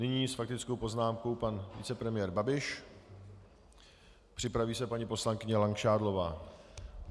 Nyní s faktickou poznámkou pan vicepremiér Babiš, připraví se paní poslankyně Langšádlová.